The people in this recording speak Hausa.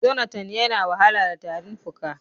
Jonathan ya na wahala da tarin fuka.